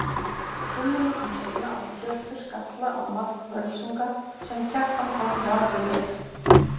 Fimm mínútum seinna átti Hjörtur skalla á mark Völsunga sem Kjartan Páll varði vel.